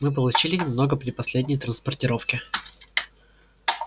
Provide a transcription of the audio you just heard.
мы получили немного при последней транспортировке